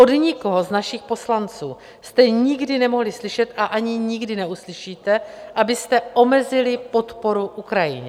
Od nikoho z našich poslanců jste nikdy nemohli slyšet, a ani nikdy neuslyšíte, abyste omezili podporu Ukrajině.